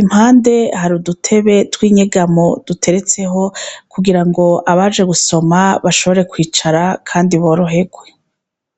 Impande hari udutebe tw'inyegamo duteretseho, kugira ngo abaje gusoma bashobore kwicara, kandi boroherwe.